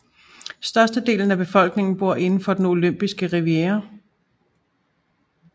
Størstedelen af befolkningen bor inden for den olympiske riviera